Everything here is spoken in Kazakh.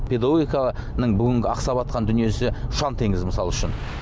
педагогикаға бүгін ақсаватқан дүниесі ұшан теңіз мысал үшін